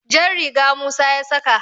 jar riga Musa ya saka